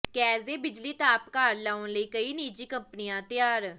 gas ਦੇ ਬਿਜਲੀ ਤਾਪ ਘਰ ਲਾਉਣ ਲਈ ਕਈ ਨਿੱਜੀ ਕੰਪਨੀਆਂ ਤਿਆਰ